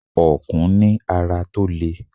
Ọ̀kùn ní ara tó lè.